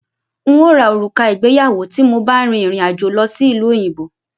N ó ra òrùka ìgbéyàwó tí mo bá rìn rìn àjò lọ sí ìlú òyìnbó